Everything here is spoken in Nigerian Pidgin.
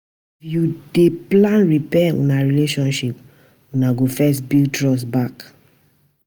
If you dey plan repair una relationship, una go first build trust back.